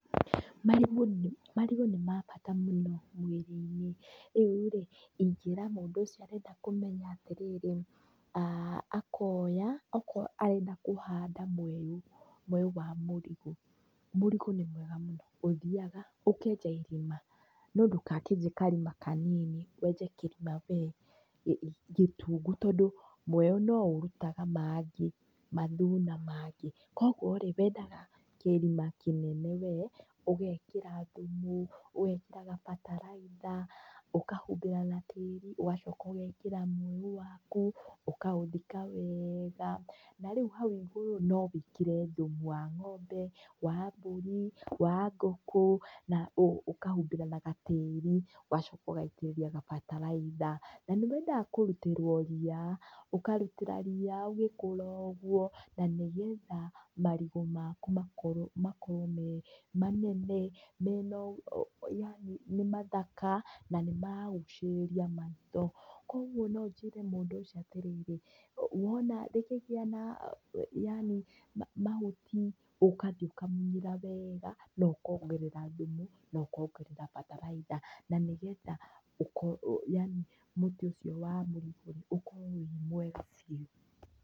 Marigũ nĩ marigũ nĩ ma bata mũno mĩrĩ-inĩ. Rĩu rĩ, ingĩra mũndũ ũcio arenda kũmenya atĩrĩrĩ, aah akoya, okorwo arenda kũhanda mweũ mweũ wa mũrigũ. Mũrigũ nĩ mwega mũno. Ũthiaga, ũkenja irima. No ndũgakĩenje karima kanini wenje kĩrima we gĩtungu. Tondũ mweũ no ũrutaga mangĩ mathuna mangĩ. Kũguo rĩ, wendaga kĩrima kĩnene we, ũgekĩra thumu, ũgekĩra gabataraitha, ũkahumbĩra na tĩri, ũgacoka ũgekĩra mweũ waku, ũkaũthika wega. Na rĩu hau igũrũ no wĩkĩre thumu wa ng'ombe, wa mbũri, wa ngũkũ, na ũkahumbĩra na gatĩri, ũgacoka ũgaitĩrĩria gabataraitha. Na nĩ wendaga kũrutĩrwo ria ũkarutĩra ria ũgĩkũra ũguo, na nĩgetha marigũ maku makorwo makorwo me manene, mena yaani nĩ mathaka, na nĩ maragucĩrĩria maitho. Kũguo no njĩre mũndũ ũcio atĩrĩrĩ, wona rĩkĩgĩa na yaani mahuti, ũkathiĩ ũkamunyĩra wega, na ũkongera thumu na ũkongerera bataraitha. Na nĩgetha ũkorwo yaani mũtĩ ũcio waku ũkorwo we mwega biũ.